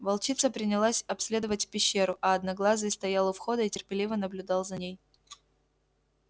волчица принялась обследовать пещеру а одноглазый стоял у входа и терпеливо наблюдал за ней